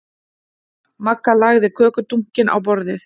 Magga lagði kökudunkinn á borðið.